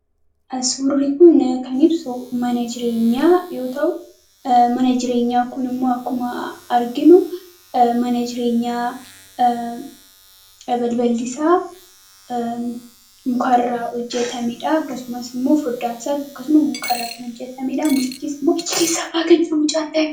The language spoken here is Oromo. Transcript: Suurri kun kan ibsu mana jireenya yoo ta'u, mana jireenya kun immoo akkuma arginu, mana jireenyaa balballii isaa mukarraa hojjetamedha. Akkasumas immoo foddaan isaas akkasuma mukarraa kan hojjetamedha.